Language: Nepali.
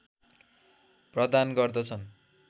प्रदान गर्दछन्